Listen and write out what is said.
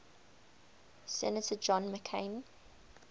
senator john mccain